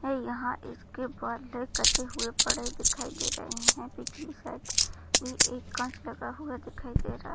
और यहाँ इसके बाल कटे हुये पड़े दिखाई दे रहे है पीछे की साइड भी एक काँच लगा हुआ दिखाई दे रहा --